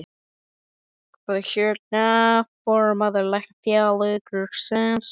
Hvar er, hérna, formaður Læknafélagsins?